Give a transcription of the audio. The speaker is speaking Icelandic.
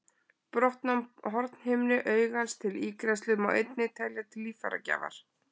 Brottnám hornhimnu augans til ígræðslu má einnig telja til líffæragjafar.